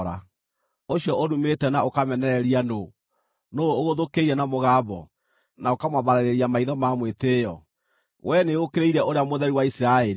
Ũcio ũrumĩte na ũkamenereria nũũ? Nũũ ũgũthũkĩire na mũgambo, na ũkamwambararĩria maitho na mwĩtĩĩo? Wee nĩũũkĩrĩire Ũrĩa Mũtheru wa Isiraeli!